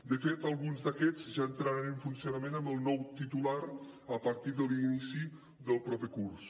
de fet alguns d’aquests ja entraran en funcionament amb el nou titular a partir de l’inici del proper curs